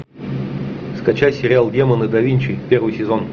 скачать сериал демоны да винчи первый сезон